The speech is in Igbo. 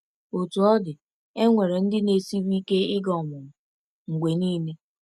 Otú ọ dị, e nwere ndị na-esiri ike ịga ọmụmụ mgbe niile.